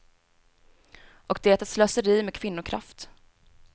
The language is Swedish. Och det är slöseri med kvinnokraft.